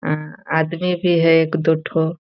अं आदमी भी है एक दो ठो।